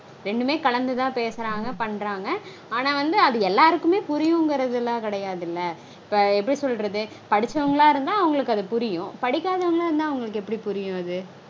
ரெண்டுமே கலந்துதா பேசறாங்க பண்றாங்க. ஆனா வந்து அது எல்லாருக்குமே புரியுங்கரதுலாம் கெடையாதுல்ல? இப்போ எப்படி சொல்றது? படிச்சவங்களா இருந்த அவங்களுக்கு அது புரியும். படிக்காதவங்களா இருந்தா அவங்களுக்கு எப்படி புரியும் அது?